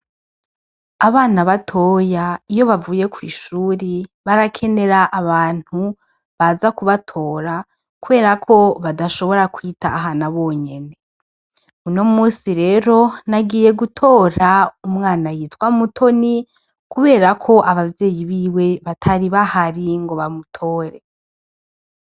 Abana batoya iyo bavuye kw'ishuri barakenera abantu baza kubatora, kubera ko badashobora kwitahana bonyene, uno musi rero nagiye gutora umwana yitwa mutoni, kubera ko abavyeyi biwe batari bahari ngo bamutore.